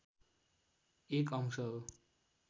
एक अंश हो